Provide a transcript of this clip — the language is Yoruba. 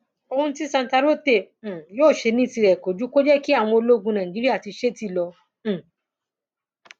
ohun tí santarote um yóò ṣe ní tirẹ kò ju kó jẹ kí àwọn ológun nàìjíríà ti ṣeé tì lọ um